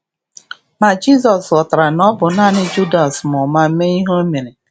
Ma Jizọs ghọtara na ọ bụ nanị Judas ma ụma mee ihe o mere.